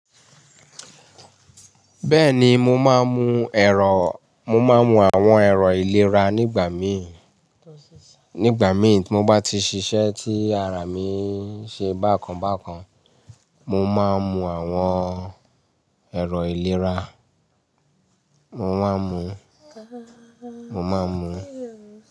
Bẹ́ẹ̀ni mo máa ń mu èrò, mo máa ń mu àwọn ẹ̀rọ ìlera nígbà mí, nígbà mí timo bá ti ṣiṣẹ́ tí ara mi ń ṣe bákan bákan, mo máa ń mu àwọn ẹ̀rọ ìlera, mo máa ń mu, mo máa ń mu.